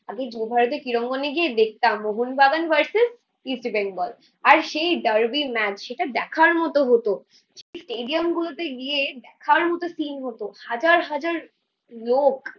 আগে যুবভারতী ক্রীড়াঙ্গণে গিয়ে দেখতাম মোহনবাগান ভার্সেস ইস্ট বেঙ্গল। আর সেই ডার্বি ম্যাচ সেটা দেখার মতো হতো। স্টেডিয়াম গুলোতে গিয়ে দেখার মতো সিন হতো, হাজার হাজার লোক